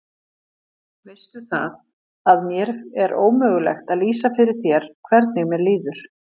Veistu það, að mér er ómögulegt að lýsa fyrir þér hvernig mér líður.